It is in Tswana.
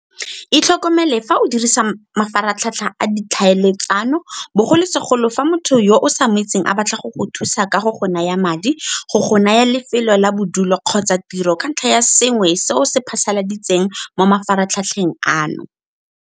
Itlhokomele fa o dirisa mafaratlhatlha a ditlhaeletsano, bogolosegolo fa motho yo o sa mo itseng a batla go go thusa ka go go naya madi, go go naya lefelo la bodulo kgotsa tiro ka ntlha ya sengwe se o se phasaladitseng mo mafaratlhatlheng ano.